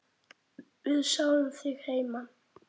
Við sjáum þig heima.